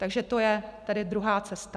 Takže to je tedy druhá cesta.